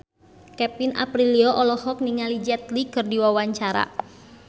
Kevin Aprilio olohok ningali Jet Li keur diwawancara